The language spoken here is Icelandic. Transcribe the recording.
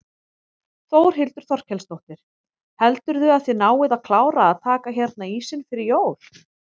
Þórhildur Þorkelsdóttir: Heldurðu að þið náið að klára að taka hérna ísinn fyrir jól?